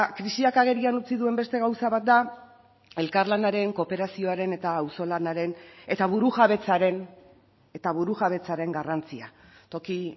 krisiak agerian utzi duen beste gauza bat da elkarlanaren kooperazioaren eta auzolanaren eta burujabetzaren eta burujabetzaren garrantzia toki